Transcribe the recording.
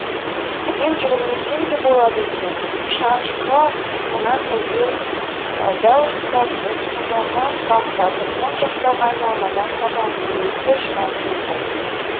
мен жүгірмесем де болады екен шанышқыға тұмсығынан ілген дәу сазанын салақтатып оң жақтағы айналмадан папамның өзі де шыға келді